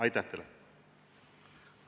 Aitäh teile!